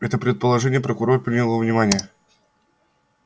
это предположение прокурор принял во внимание